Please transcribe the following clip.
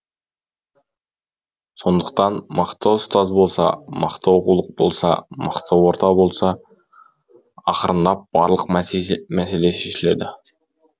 сондықтан мықты ұстаз болса мықты оқулық болса мықты орта болса ақырындап барлық мәселе шешіледі